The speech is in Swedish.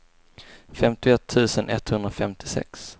femtioett tusen etthundrafemtiosex